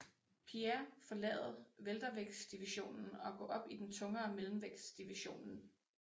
Pierre forlade weltervægtsdivisionen og gå op i den tungere mellemvægtsdivisionen